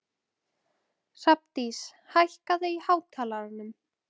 Hrafndís, hækkaðu í hátalaranum.